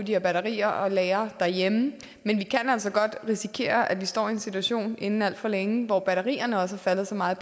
her batterier og lagre derhjemme men vi kan altså godt risikere at vi står i en situation inden alt for længe hvor batterierne også er faldet så meget